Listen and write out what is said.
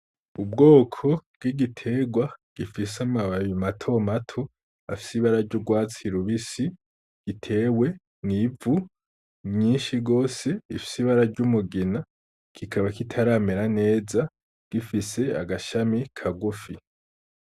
Ubwoko bw'igiterwa gifise amababi matomato afsibeara ry' urwatsi rubisi gitewe mw'ivu nyinshi rwose ifsibara ry' umugina gikaba kitaramera neza gifise agashami ka gufi.